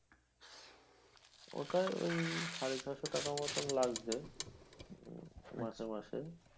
ওটা ওই সাড়ে ছশো টাকা মতো লাগছে মাসে মাসে